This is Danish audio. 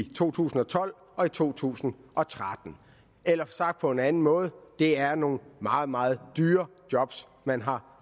to tusind og tolv og to tusind og tretten eller sagt på en anden måde det er nogle meget meget dyre job man har